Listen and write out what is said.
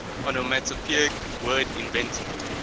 onomatopoeic word invented